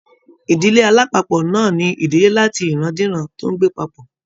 Ìdílé alapapo náà ní ìdílé làti iran-diran tó n gbé papọ.